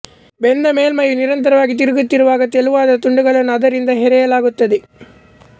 ಬೆಂದ ಮೇಲ್ಮೈಯು ನಿರಂತರವಾಗಿ ತಿರುಗುತ್ತಿರುವಾಗ ತೆಳುವಾದ ತುಂಡುಗಳನ್ನು ಅದರಿಂದ ಹೆರೆಯಲಾಗುತ್ತದೆ